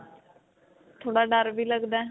ਥੋੜਾ ਡਰ ਵੀ ਲਗਦਾ ਹੈ.